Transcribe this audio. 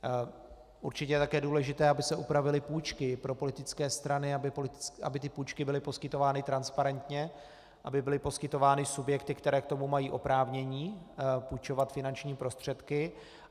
Určitě je také důležité, aby se upravily půjčky pro politické strany, aby ty půjčky byly poskytovány transparentně, aby byly poskytovány subjekty, které k tomu mají oprávnění půjčovat finanční prostředky.